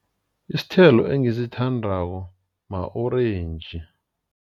Isithelo engisithandako ma-orentji.